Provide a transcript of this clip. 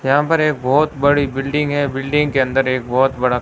यहां पर एक बहोत बड़ी बिल्डिंग है बिल्डिंग के अंदर एक बहोत बड़ा--